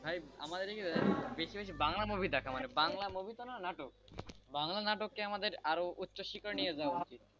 ভাই আমাদের এখানে বেশী বাংলা movie দেখে বাংলা movie তো নয় নাটকবাংলা নাটক কে আমাদের আরও উচ্চ শিখরে নিয়ে যাওয়া উচিত,